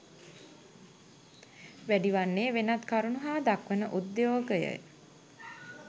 වැඩි වන්නේ වෙනත් කරුණු හා දක්වන උද්‍යයෝගය